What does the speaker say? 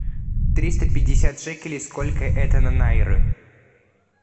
триста пятьдесят шекелей сколько это на найры